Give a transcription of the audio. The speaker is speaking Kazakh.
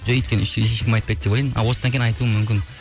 жоқ өйткені ешкім айтпайды деп ойлаймын а осыдан кейін айтуы мүмкін